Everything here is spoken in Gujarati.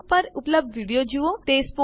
આ લીંક પર ઉપલબ્ધ વિડીયો જુઓ